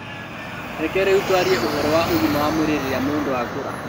Reke rĩu twarĩe ũhoro wa ũgima wa mwĩrĩ rĩrĩa mũndũ akũũra